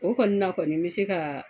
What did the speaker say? O kɔni na kɔni bɛ se ka.